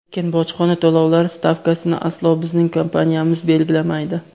lekin bojxona to‘lovlari stavkasini aslo bizning kompaniyamiz belgilamaydi.